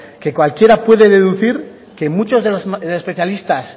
como que cualquiera puede deducir que muchos de los especialistas